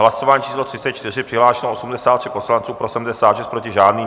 Hlasování číslo 34, přihlášeno 83 poslanců, pro 76, proti žádný.